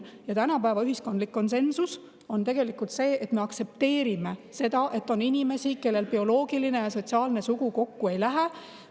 Ja tänapäeva ühiskondlik konsensus on tegelikult see, et me aktsepteerime seda, et on inimesi, kellel bioloogiline ja sotsiaalne sugu kokku ei lähe.